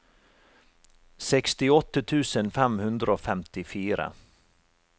sekstiåtte tusen fem hundre og femtifire